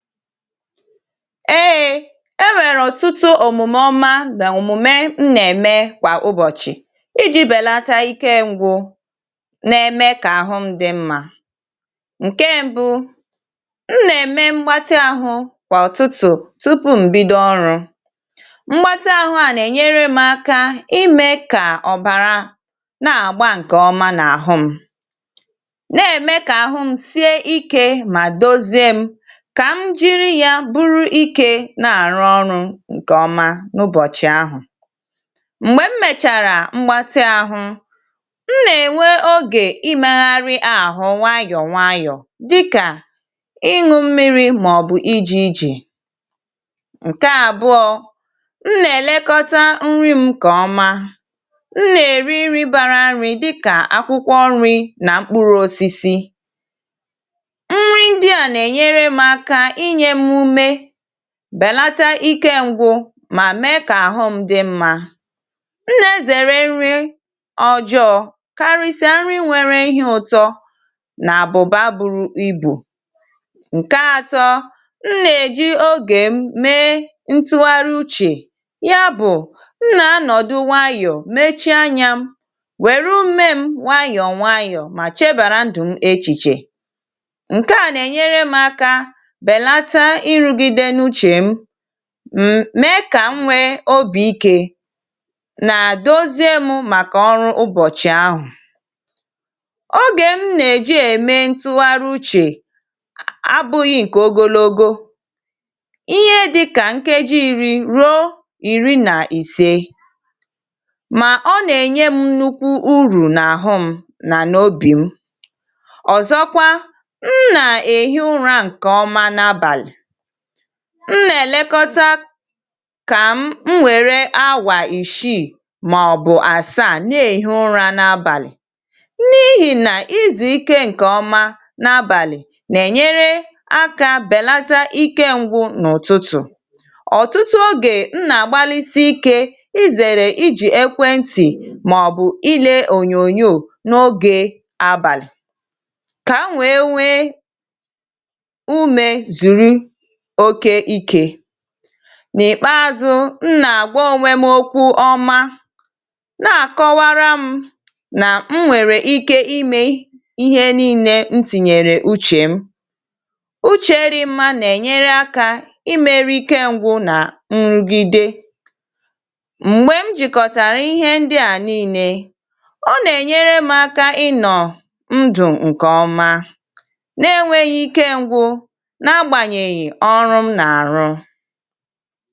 eėė e nwèrè ọ̀tụtụ òmùmè ọma nà òmùme m nnèmè kwà ụbọ̀chị̀ ijì bèlata ikė ngwụ nà-ème kà ahụm dị̇ mmȧ ǹke mbu̇ m nà-ème mgbatị ahụ̇ kwà ọ̀tụtụ̀ tupu m̀bido ọrụ̇ mgbatị ahụ̇ à nà-ènyere m aka imė kà ọ̀bàra nà-àgba ǹkè ọma nà àhụm nà-ème kà àhụm sie ikė mà dozie m ka m jiri ya buru ike na-arụ ọrụ ǹkèọma n’ụbọ̀chị̀ ahụ̀ m̀gbe m mèchàrà mgbatị ahụ̇ m nà-ènwe ogè ịmegharị àhụ nwayọ̀ nwayọ̀ dịkà ịñụ̇ mmiri̇ màọ̀bụ̀ ije ije ǹkè àbụọ m nà-èlekọta nri m kà ọma m nà-èri nri bara nri̇ dịkà akwụkwọ nri̇ nà mkpụrụ osisi nri ndị a Na-enyere m aka ịnyem ume ma bèlata ike ǹgwụ mà mee kà àhụ m dị mma m nà ezère nri ọjọọ karịsịa nri nwere ihe ụtọ nà àbụ̀bà buru ibù ǹke atọ m nà-èji ogè mee ntụgharị uchè ya bụ̀ m nà anọ̀dụ wayọ̀ mechie anyȧ m wèrụ ume m wayọ̀ nwayọ̀ mà chebàra ndụ̀ m echìchè nkea Na-enyere m aka belata ịrụgide n’uche ma m̀mee kà m nwee obì ikė nà doziė mụ̇ màkà ọrụ ụbọ̀chị̀ ahụ̀ ogè m nà-èji ème ntụgharị uchè abụ̇ghị̇ ǹkè ogologo ihe dịkà nkeji ìri rụọ ìri nà ìse mà ọ nà-ènye m nukwu urù n’àhụ m nà n’obì m ọ̀zọkwa m nà-èhi ụra ǹkè ọma n’abàlị̀ m nà-èlekọta kà m m wère áwà ìshiì mà ọ̀bụ̀ àsaà ne èhi ụra n’abàlị̀ n’ihì nà ịzùikė ǹkè ọma n’abàlị̀ nà-ènyere akȧ bèlata ikė ngwụ̇ n’ụ̀tụtụ̀ ọ̀tụtụ ogè m nà-àgbalịsị ikė ịzèrè ijì ekwe ntì mà ọ̀ bụ̀ ịlė ònyònyò n’ogė abàlị̀ kà m wee nwee ume zuru okè ike nà-ikpeȧzụ̇ m nà-àgwa ònwė m okwu ọma na-àkọwara m nà m nwèrè ike imė ihe nii̇ne m tìnyèrè uchè m uchè rị mmȧ nà-ènyere akȧ ịmėri̇ ike ṅ̇gwụ̇ nà nrụ̀gide m̀gbè m jìkọ̀tàrà ihe ndịà nii̇nė ọ nà-ènyere m aka ịnọ̀ ndụ̀ ǹkè ọma na-enwėghi̇ ike ṅ̇gwụ̇ na-agbanyeghị ọrụ m na-arụ.